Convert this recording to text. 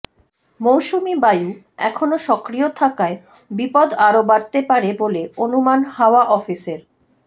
মৌসুমি বায়ু এখনও সক্রিয় থাকায় বিপদ আরও বাড়তে পারে বলে অনুমান হাওয়া অফিসের